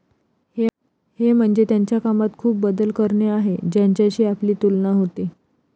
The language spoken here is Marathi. हे म्हणजे त्यांच्या कामात खूप बदल करणे आहे, ज्यांच्याशी आपली तुलना होते.